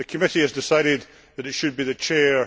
the committee has decided that it should be the Chair.